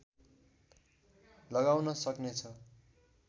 लगाउन सक्नेछ